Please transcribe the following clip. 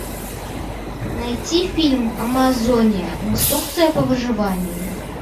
найти фильм амазония инструкция по выживанию